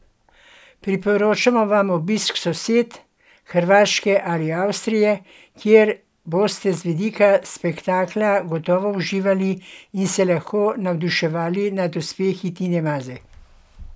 Priporočamo vam obisk sosed, Hrvaške ali Avstrije, kjer boste z vidika spektakla gotovo uživali in se lahko navduševali nad uspehi Tine Maze.